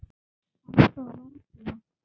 Anda varla.